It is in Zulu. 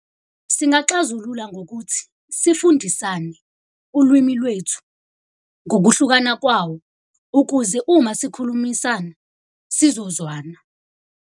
Singaxazulula ngokuthi sifundisane ulwimi lwethu ngokuhlukana kwawo ukuze uma sikhulumisana sizozwana.